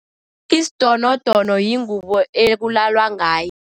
Isidonodono yingubo ekulalwa ngayo.